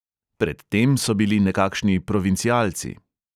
Pred tem so bili nekakšni provincialci.